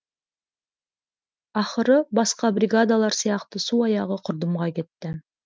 ақыры басқа бригадалар сияқты су аяғы құрдымға кетті